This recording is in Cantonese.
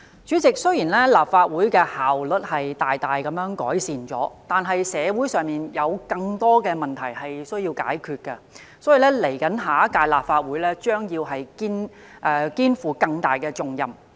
主席，雖然立法會的效率大幅改善，但社會上有更多問題需要解決，因此，未來一屆立法會將肩負更大重任。